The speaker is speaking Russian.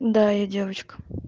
да я девочка